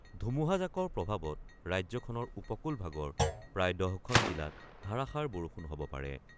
ধুমুহাজাকৰ প্ৰভাৱত ৰাজ্যখনৰ উপকূলভাগৰ প্ৰায় ১০খন জিলাত ধাৰাষাৰ বৰষুণ হব পাৰে।